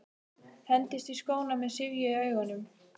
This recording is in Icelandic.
Hendist í skóna með syfju í augunum.